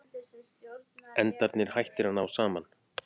Endarnir hættir að ná saman.